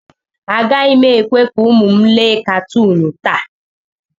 Agaghị m ekwe ka ụmụ m lee katuun taa.